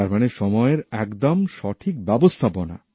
তার মানে সময়ের একদম সঠিক ব্যবস্থাপনা